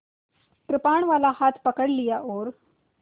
कृपाणवाला हाथ पकड़ लिया और